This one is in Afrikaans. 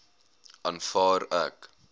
aanvaar ek